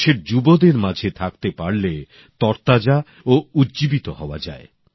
দেশের যুবসম্প্রদায়ের মাঝে থাকতে পারলে মন তরতাজা ও উজ্জীবিত হয়া যায়